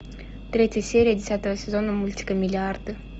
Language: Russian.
третья серия десятого сезона мультика миллиарды